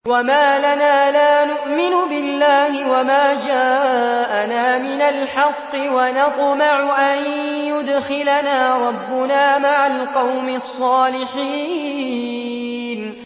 وَمَا لَنَا لَا نُؤْمِنُ بِاللَّهِ وَمَا جَاءَنَا مِنَ الْحَقِّ وَنَطْمَعُ أَن يُدْخِلَنَا رَبُّنَا مَعَ الْقَوْمِ الصَّالِحِينَ